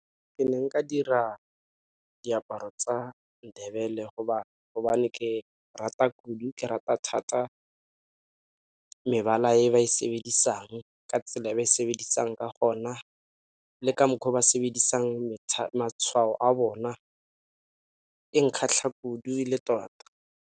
Ke ne nka dira diaparo tsa Ndebele gobane ke rata kudu, ke rata thata mebala e ba e sebedisang ka tsela e ba e sebedisa ka gona le ka mokgwa o ba sebedisa matshwao a bona e nkgatlha kudu le tota.